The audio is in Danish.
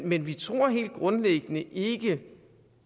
men vi tror helt grundlæggende ikke